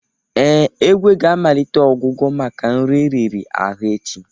Ee, Eme ga-amalite ọgwụgwọ maka nri riri ahụ echi.